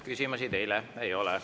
Küsimusi teile ei ole.